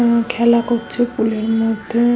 উম খেলা করছে পুলের -এর মধ্যে--